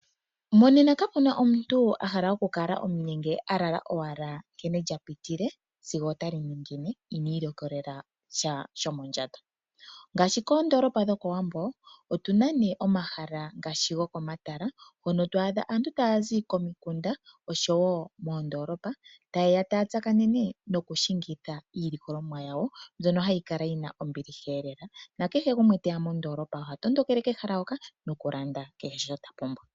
Monena kapena omuntu ahala okukala omunyenge alala owala nkene lyapitile sigo otali ningine inwiilikolela sha shomondjato. Ngaashi koondolopa dhokowambo otuna nee omahala ngaashi gokomatala hono twaadha aantu taazi komikunda oshowo moondolopa tayeya taya tsakanene nokushingitha iilikolomwa yawo mbyono hayi kala yina ombiliha lela, nakehe gumwe teya moondolopa mono ohatondokele kehala hoka nokulanda kehe sho tapumbwa.